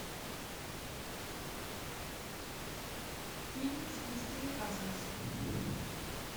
фильм с кристиной асмус